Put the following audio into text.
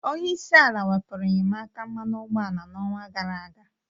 Onyeisi ala wepurụ inyemaka mmanụ ụgboala na ọñwa gara-aga.